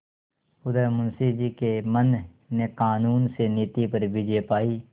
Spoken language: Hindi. उधर मुंशी जी के मन ने कानून से नीति पर विजय पायी